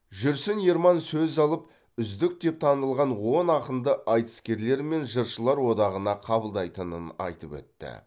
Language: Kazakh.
жүрсін ерман сөз алып үздік деп танылған он ақынды айтыскерлер мен жыршылар одағына қабылдайтынын айтып өтті